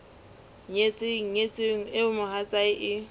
nyetseng nyetsweng eo mohatsae e